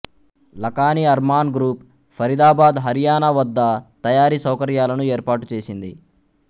Lakhani Arman group Faridabad Haryana వద్ద తయారీ సౌకర్యాలను ఏర్పాటు చేసింది